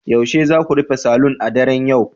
Yaushe za ku rufe saloon a daren yau